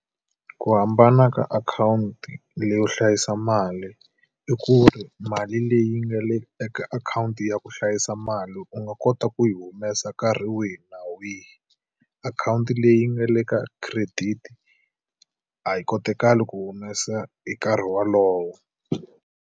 Ku hambana ka akhawunti leyi yo hlayisa mali, i ku ri mali leyi nga le eka akhawunti ya ku hlayisa mali u nga kota ku yi humesa nkarhi wihi na wihi. Akhawunti leyi nga le ka credit a yi kotekali ku humesa hi nkarhi wolowo.